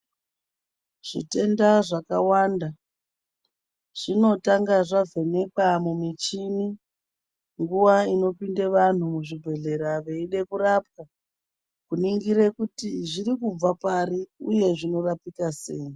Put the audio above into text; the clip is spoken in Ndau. Zvitenda zvakawanda zvinotanga zvavhenekwa mumichini nguva inopinde vantu muzvibhedhlera veide kurapwa kuningire kuti zviri kubve pari uye zvinorapika sei.